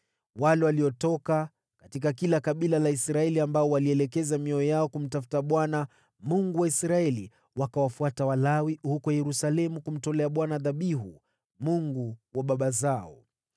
Wale waliotoka katika kila kabila la Israeli ambao walielekeza mioyo yao kumtafuta Bwana , Mungu wa Israeli, wakawafuata Walawi huko Yerusalemu kumtolea Bwana dhabihu, Mungu wa baba zao.